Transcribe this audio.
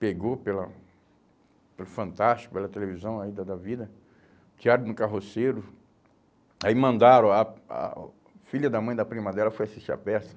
pegou pela pelo Fantástico, pela televisão aí da da vida, diário de um carroceiro, aí mandaram, a a filha da mãe da prima dela foi assistir a peça.